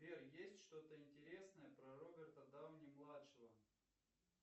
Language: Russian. сбер есть что то интересное про роберта дауни младшего